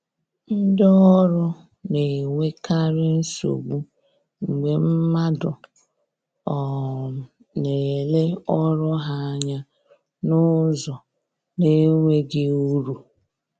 Ndi ọrụ na-enwekarị nsogbu mgbe mmadụ um na-ele ọrụ ha anya n’ụzọ na-enweghị uru